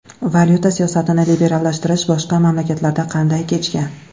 Valyuta siyosatini liberallashtirish boshqa mamlakatlarda qanday kechgan?